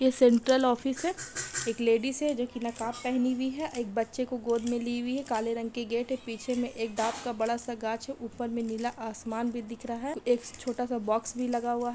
ये central office हैं एक लेडीज हैं जो नकाब पहनी हुई हैं एक बच्चे को गोद मैं ली हुई है काले रंग का गेट {gate हैं पीछे मे एक डआब का बड़ा सा गाछ है ऊपर मैं नीला आसमान भी देख रहा है एक छोटा सा बॉक्स भी लगा हुआ हैं। }